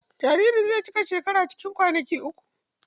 Jaririn zai cika shekara guda cikin kwanaki uku.